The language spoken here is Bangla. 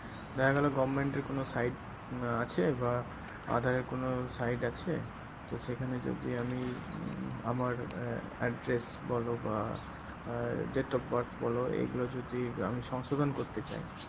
দেখা গেলো government এর কোনো site আহ আছে বা আধারের কোনো site আছে তো সেখানে যদি আমি উম আমার আহ address বলো বা আহ date of birth বলো এগুলো যদি আমি সংশোধন করতে চাই